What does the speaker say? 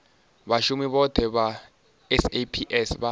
vhashumi vhothe vha saps vha